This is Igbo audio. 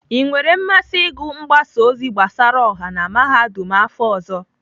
I nwere mmasị ịgụ mgbasa ozi gbasara ọha na Mahadum afọ ọzọ?